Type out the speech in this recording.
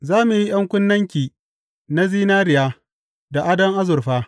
Za mu yi ’yan kunnenki na zinariya, da adon azurfa.